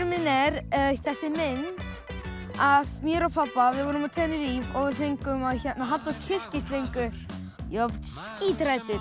minn er þessi mynd af mér og pabba við vorum á Tenerife og fengum að halda á kyrkislöngu ég var skíthræddur